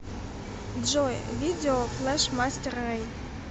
джой видео флэшмастер рэй